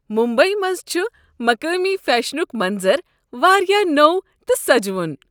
ممبیی منٛز چھ مقٲمی فیشنک منظر واریاہ نوو تہٕ سجوُن۔